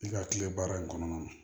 I ka kile baara in kɔnɔna na